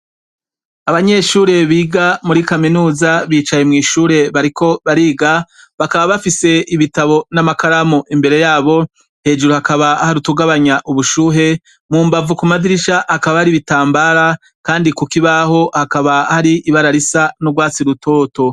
Abanyeshure biga muri kaminuza, bicaye mw'ishure bariko bariga. Bakaba bafise ibitabo n'amakaramu imbere y'abo. Hejuru hakaba hari utugabanya ubushuhe. Mubavu ku madirisha, hakaba har'ibitambara, kandi ku kibaho hakaba hari ibara risa n'urwatsi rutoto.